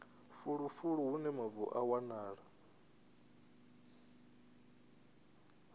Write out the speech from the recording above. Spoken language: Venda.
fulufulu hune mavu a wanala